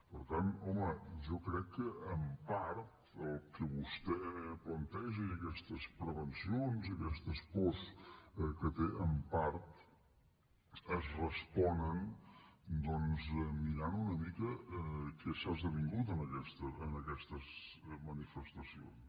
per tant home jo crec que en part el que vostè planteja i aquestes prevencions i aquestes pors que té en part es responen mirant una mica què s’ha esdevingut en aquestes manifestacions